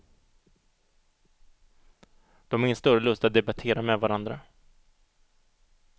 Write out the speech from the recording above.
De har ingen större lust att debattera med varandra.